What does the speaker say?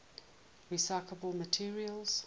recyclable materials